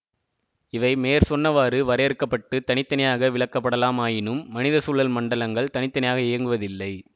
இவை மேற் சொன்னவாறு வரையறுக்கப்பட்டுத் தனி தனியாக விளக்கப்படலாம் ஆயினும் மனித சூழல் மண்டலங்கள் தனி தனியாக இயங்குவதில்லை